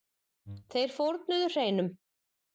Þeir fórnuðu hreinum.